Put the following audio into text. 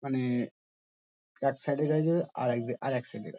মানে এ এক সাইড -এর গাড়ি যাবে আরেক আরেক সাইড -এর গাড়ি ।